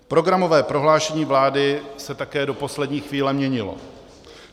Programové prohlášení vlády se také do poslední chvíle měnilo.